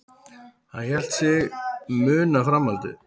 Hann hélt sig muna framhaldið.